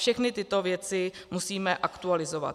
Všechny tyto věci musíme aktualizovat.